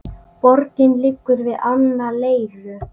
Borgin liggur við ána Leiru.